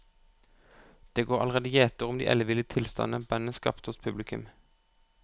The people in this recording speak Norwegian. Det går allerede gjetord om de elleville tilstandene bandet skaper hos publikum.